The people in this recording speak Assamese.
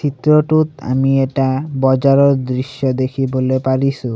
চিত্ৰটোত আমি এটা বজাৰৰ দৃশ্য দেখিবলৈ পাৰিছোঁ।